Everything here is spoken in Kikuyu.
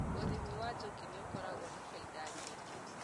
ũrĩmi wa njũkĩ nĩũkoragũo na faida nyingĩ.